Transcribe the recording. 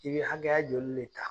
I be hakɛya joli de ta?